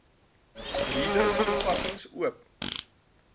reader toepassing oop